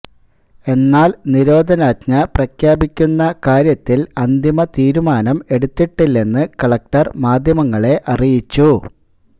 എന്നാൽ നിരോധനാജ്ഞ പ്രഖ്യാപിക്കുന്ന കാര്യത്തിൽ അന്തിമ തീരുമാനം എടുത്തിട്ടില്ലെന്ന് കലക്ടർ മാധ്യമങ്ങളെ അറിയിച്ചു